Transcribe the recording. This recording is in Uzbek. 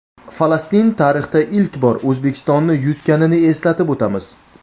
Falastin tarixda ilk bora O‘zbekistonni yutganini eslatib o‘tamiz.